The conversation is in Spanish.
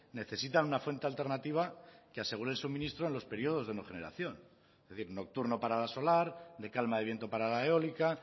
necesitan una fuente alternativa que asegure el suministro en los periodos de no generación es decir nocturno para la solar de calma de viento para la eólica